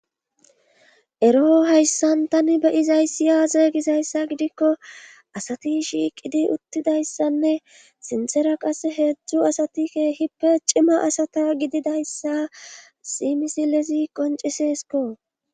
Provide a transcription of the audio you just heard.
Eroo hayssan tani beyizayssi aaze gizayssa gidikko asati shiiqidi uttidayssanne sinsera qas heedzdzu asatike hippe cima asata gididayssa simisilezi qoncesesko.